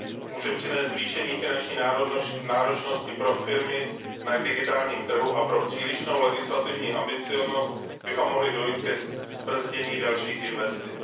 Může přinést zvýšení finanční náročnosti pro firmy na digitálním trhu a pro přílišnou legislativní ambicióznost by mohlo dojít ke zbrzdění dalších investic.